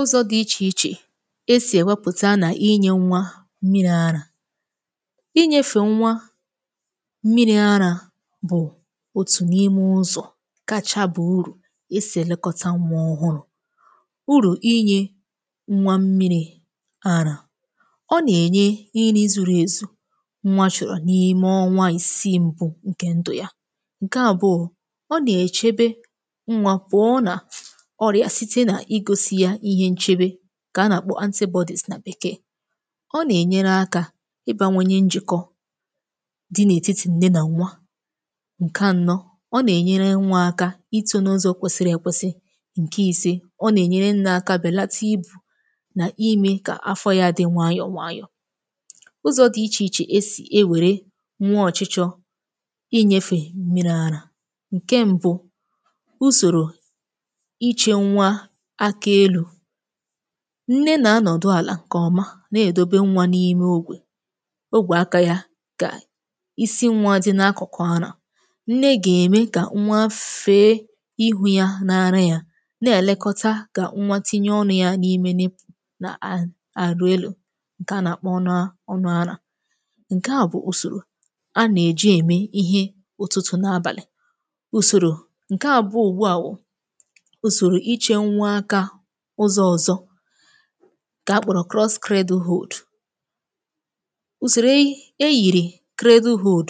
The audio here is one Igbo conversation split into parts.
ụzọ̄ di ichè ichè esì èwepụ̀ta nà-inyē nnwa mmịrị̄ arā inyēfè nnwa mmịrị̄ arā bụ̀ otù n’ime ụzọ̀ kacha ba urù esì èlekọta nnwa ọhụrụ̄ urù inyē nnwa mmịrị̄ arā ọ nà-ènye nri zuru èzù nnwa chòrò n’ime ọnwa ìsii mbu ǹkè ndù ya ǹke àbụọ ọ nà-èchebe nnwā pụọ nà ọrịà site nà igosi ya ihe nchebe ǹkè a nà-àkpọ anti bodies nà bekee ọ nà-ènyere akā ibāwanye njị̀kọ di n’ètitì nne nà nnwa ǹke ànọ ọ nà-ènyere nwa aka ịtọ̄ n’ụzọ kwesiri èkwesi ǹke ìse ọ nà-ènyere nne aka bèlata ibù nà imē kà afọ yā di nwayọ̀ nwayọ̀ ụzọ̄ di ichè ichè esì e wère nwa ọ̀chịchọ inyēfe mmịrị̄ arā ǹke mbu usòrò ichē nwa aka elū nne nà anọ̀dụ àlà ǹkè ọma na-èdobe nwa n’ime ogwè ogwè akā ya gà isi nwā di n’akụ̀kụ̀ arā nne gà-ème kà nwa fee igwū ya n’ara ya na-èlekọta kà nwa tinye ọnụ̄ ya n’imene nà à aveolar ǹkè a nà-àkpọ ọnụ̄ ọnụ̄ arā ǹke bụ̀ usòrò a nà-èji ème ihe ụtụ̀tụ̀ na abàlị usòrò ǹke àbụọ ùgbua wù usòrò ichē nwa akā ụzọ ọ̀zọ ǹke akpọ̀rọ̀ cross cradle hold usòrò eyi eyìrì cradle hold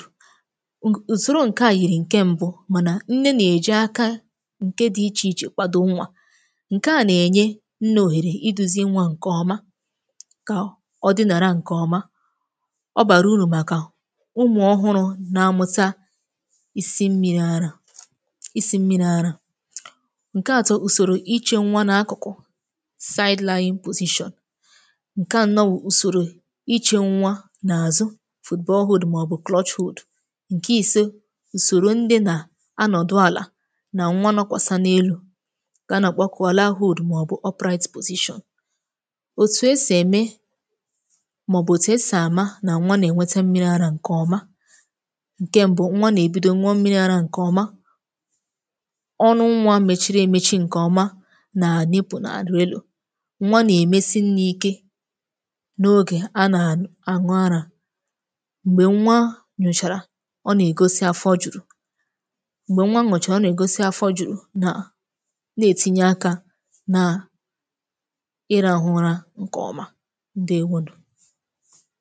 ùsòro ǹke yìrì ǹke mbu mànà nne nà-èji akā ǹke di ichè ichè kwado nwa ǹke nà-ènye nne òhèrè iduzi nwa ǹke ọma kà o dịnàrà ǹke ọma ọ bàrà urù màkà umù ọhụrụ̄ na-amụta isi mmịrị̄ arā isi mmịrị̄ arā ǹke atọ ùsòrò ichē nwa n’akụ̀kụ̀ side lying position ǹke ànọ wù usòrò ichē nwa n’àzụ football hold màọbụ̀ clutch hold ǹke ìse ùsòrò ndị nà anọ̀dụ àlà nà nwa nọkwàsa n’elū ǹkè a nà-àkpọkwa land hold màọbụ upright position òtù esì ème màọbụ̀ òtù esì àma nà nwa nà-ènwete mmịrị̄ arā ǹkè ọma ǹkè mbu nwa nà-èbido ṅụọ mmịrị̄ arā ǹkè ọma ọnụ nwa mechiri èmechi ǹkè ọma nà nipple na-àdị elū nwa nà-èmesi nne ike n’ogè a nà-àṅụ arā m̀gbè nwa ṅụ̀chàrà ọ nà-ègosi afọ jùrù m̀gbè nwa ṅụchàrà afọ jùrù nà na-ètinye akā nà ịrahụ ụra ǹkè ọma ǹdewonù